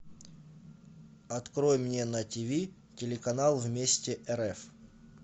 открой мне на тв телеканал вместе рф